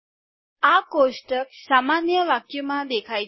આ કોષ્ટક સામાન્ય વાક્યમાં દેખાય છે